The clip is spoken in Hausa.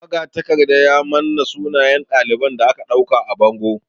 Magatakarda ya manna sunayen ɗalibai da aka ɗauka a bango.